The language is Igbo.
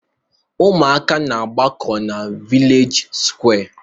Ụmụaka na-aagbakọ na vilej sụkwé.